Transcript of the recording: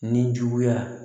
Ni juguya